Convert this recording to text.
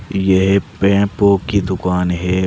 ये पे पो की दुकान है।